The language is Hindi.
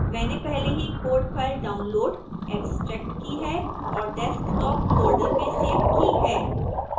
मैंने पहले ही code file डाउनलोड़ एक्स्ट्रैक्ट की है और desktop फोल्डर में सेव की है